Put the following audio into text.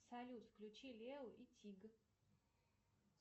салют включи лео и тиг